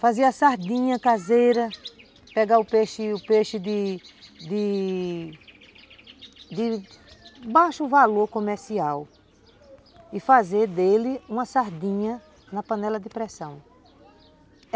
Fazer a sardinha caseira, pegar o peixe o peixe de de de baixo valor comercial e fazer dele uma sardinha na panela de pressão.